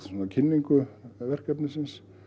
kynningu verkefnisins